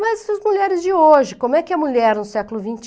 Mas as mulheres de hoje, como é que a mulher no século vinte